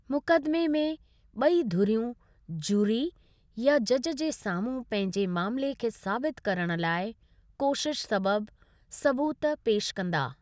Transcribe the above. मुक़दिमे में, ॿई धुरियूं ज्यूरी या जजु जे साम्हूं पंहिंजे मामले खे साबित करण लाइ कोशिश सबबि सबूत पेशि कंदा।